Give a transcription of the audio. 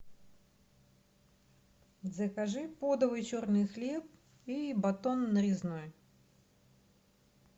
закажи подовый черный хлеб и батон нарезной